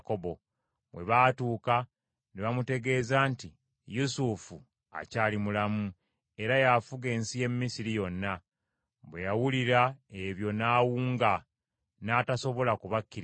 Bwe baatuuka ne bamutegeeza nti Yusufu akyali mulamu, era y’afuga ensi y’e Misiri yonna. Bwe yawulira ebyo n’awunga n’atasobola kubakkiriza.